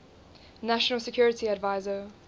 national security advisor